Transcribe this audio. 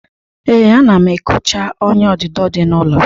Ee, ana m ekocha ọ́nyà odudo dị n'ụlọ.